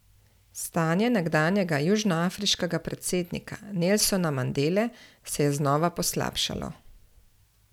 Stanje nekdanjega južnoafriškega predsednika Nelsona Mandele se je znova poslabšalo.